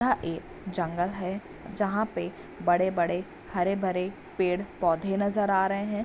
यहाँ एक जंगल है जहाँ पे बड़े-बड़े हरे-भरे पेड़-पौधे नजर आ रहे हैं।